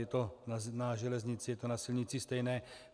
Je to na železnici, je to na silnici stejné.